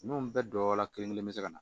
N'o bɛɛ dɔ la kelen kelen be se ka na